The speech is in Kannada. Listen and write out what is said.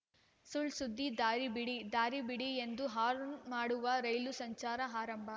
ಸುಳ್‌ ಸುದ್ದಿ ದಾರಿ ಬಿಡಿ ದಾರಿ ಬಿಡಿ ಎಂದು ಹಾರ್ನ್‌ ಮಾಡುವ ರೈಲು ಸಂಚಾರ ಆರಂಭ